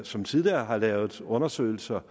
som tidligere har lavet undersøgelser